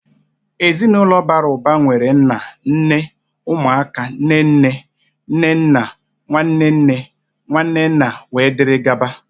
Ezinaụlọ bàrà ụba nwere nnà, nné, ụmụ aka, nné nné, nné nna, nwanne nne, nwanne nna, wee dịrị gaba..